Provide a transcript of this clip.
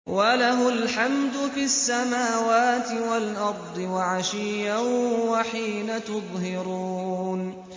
وَلَهُ الْحَمْدُ فِي السَّمَاوَاتِ وَالْأَرْضِ وَعَشِيًّا وَحِينَ تُظْهِرُونَ